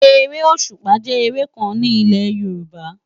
Éré ósúpá jè éré kán ni ilé Yoruba